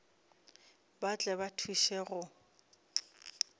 ba tle ba thuše go